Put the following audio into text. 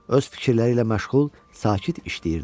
Öz fikirləri ilə məşğul, sakit işləyirdi.